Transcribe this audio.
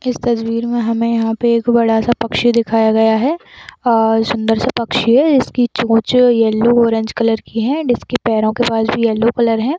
इस तस्वीर में हमे यहाँ पे एक बड़ा सा पक्षी दिखाया गया है और सुन्दर सा पक्षी है जिसकी चोंच येलो ऑरेंज कलर की है डिस्के पैरो के पास भी येलो कलर है।